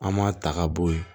An m'a ta ka bɔ yen